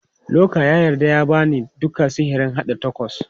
Luka ya yarda ya ba ni duka sirrin haɗa tacos.